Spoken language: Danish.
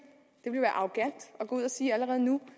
allerede nu